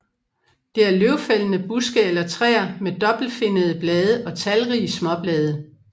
Det er løvfældende buske eller træer med dobbeltfinnede blade og talrige småblade